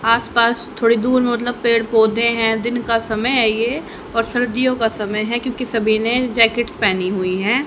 आसपास थोड़ी दूर मतलब पेड़ पौधे हैं दिन का समय है ये और सर्दियों का समय है क्योंकि सभी ने जैकेट पहनी हुई है।